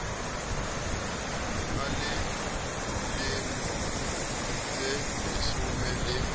a le lemo tseleshome le